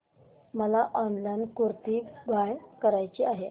मला online kurti buy करायची आहे